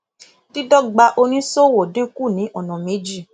dídọgba oníṣòwò dínkù ní ọnà méjì